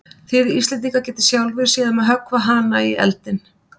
Þið Íslendingar getið sjálfir séð um að höggva hana í eldinn.